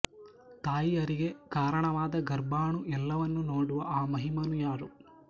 ತಾಯಿಯರಿಗೆ ಕಾರಣವಾದ ಗರ್ಭಾಣು ಎಲ್ಲವನ್ನು ನೋಡುವ ಆ ಮಹಿಮನು ಯಾರು